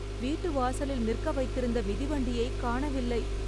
வீட்டு வாசலில் நிற்க வைத்திருந்த மிதிவண்டியை காணவில்லை